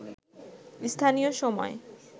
স্থানীয় সময়